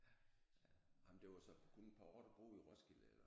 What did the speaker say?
Ja ja nej men det var så kun et par år du boede i Roskilde eller?